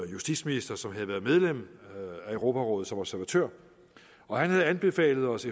justitsminister som havde været medlem af europarådet som observatør han havde anbefalet os